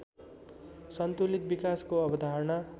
सन्तुलित विकासको अवधारणा